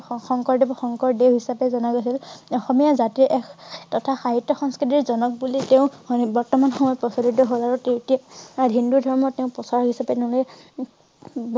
শং~শং~শংকৰদেৱ~শংকৰদেৱ হিচাবে জনা গৈছিল। অসমীয়া জাতিৰ এক থতা সাহিত্য সংস্কৃতিৰ জনক বুলি তেওঁক বৰ্তমান সময়ত প্ৰচলিত হল আৰু তেতিয়া হিন্দু ধৰ্ম তেওঁ প্ৰচাৰ হৈছে তেনেহলে